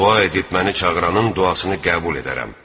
Dua edib məni çağıranın duasını qəbul edərəm.